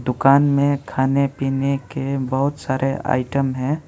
दुकान में खाने पीने के बहोत सारे आइटम है।